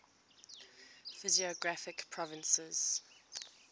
physiographic provinces